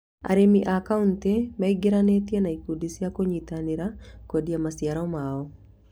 Arĩmi a kauntĩ meigiranĩtie na ikundi cĩa kũnyinĩra kwendia maciaro mao